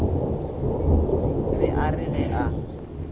be a re ge a